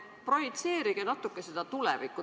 Projitseerige natuke seda tulevikku.